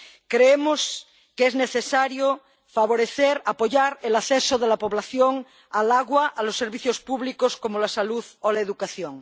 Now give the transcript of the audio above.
Creemos que es necesario favorecer, apoyar el acceso de la población al agua y a los servicios públicos, como la salud o la educación.